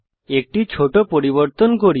একটি ছোট পরিবর্তন করি